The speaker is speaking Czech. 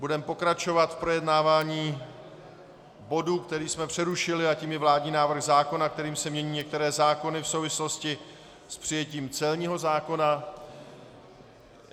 Budeme pokračovat v projednávání bodu, který jsme přerušili, a tím je vládní návrh zákona, kterým se mění některé zákony v souvislosti s přijetím celního zákona.